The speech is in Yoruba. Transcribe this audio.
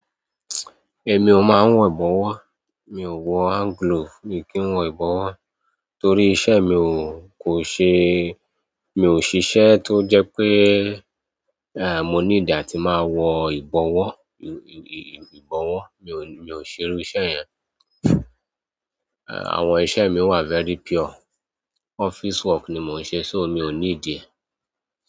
Èmi ò máa ń wọ ìbọ̀wọ́. Mi ò wọ àǹgúlòò mi o kí n wọ ìbọ̀wọ́ torí iṣẹ́ mi kò ṣe-- mi ò ṣiṣẹ́ tó jẹ́ pé, à, mo nídí atí máa wọ ìbọ̀wọ́, ì-ì-ìbọ̀wọ́. Mi ò, mi ò ṣerú iṣẹ́ yẹn. À, àwọn iṣẹ́ mi wà very pure. Office work ni mo n se so mi o nidi e.